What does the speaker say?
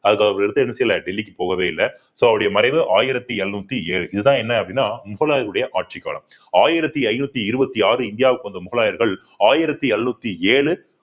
அதுக்கு அவர் எடுத்து என்ன செய்யல டெல்லி போகவே இல்லை so அவருடைய மறைவு ஆயிரத்தி எழுநூத்தி ஏழு இதுதான் என்ன அப்படின்னா முகலாயருடைய ஆட்சிக் காலம் ஆயிரத்தி ஐந்நூத்தி இருபத்தி ஆறு இந்தியாவுக்கு வந்த முகலாயர்கள் ஆயிரத்தி எழுநூத்தி ஏழு